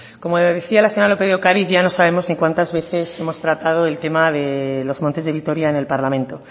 como decía la señora lópez de ocariz ya no sabemos en cuentas veces hemos tratado el tema de los montes de vitoria en el parlamento